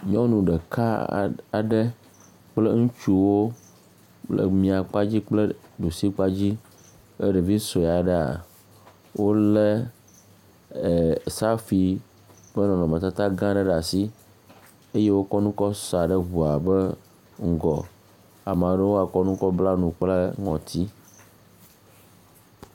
Nyɔnu ɖeka aɖe kple ŋutsuwo le mia kpa dzi kple ɖu si kpa dzi kple ɖevi sue aɖea. Wole safui ƒe nɔnɔme tata gã aɖe ɖe asi. Eye wokɔ nu kɔ saa ɖe ŋua ƒe ŋgɔ. Ame awo hã wo bla nu kple ŋɔti.